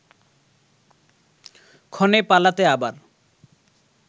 ক্ষণে পালাতে আবার